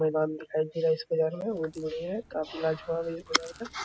मैदान दिखाई दे रहे है इसके बाहर में --